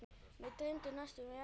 Mig dreymir næstum ekki neitt.